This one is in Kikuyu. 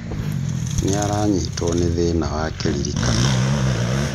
Nîaranyitwo nî thĩna wa kĩririkano